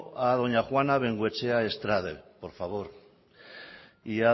a doña juana de bengoechea estrade por favor y